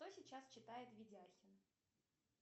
что сейчас читает видяхин